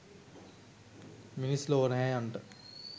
මිනිස් ලොව නෑයන්ට